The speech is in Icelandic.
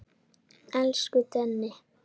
Elsku Denni.